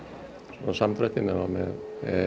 samdrætti nema með